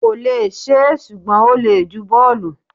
kò lè ṣe é, ṣùgbọ́n ó le ju bọ́ọ̀lù.